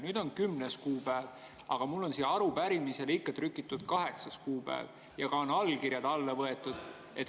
Nüüd on 10. kuupäev, aga mul on sellele arupärimisele trükitud 8. kuupäev ja ka allkirjad on alla võetud.